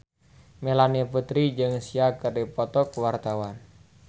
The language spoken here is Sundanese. Melanie Putri jeung Sia keur dipoto ku wartawan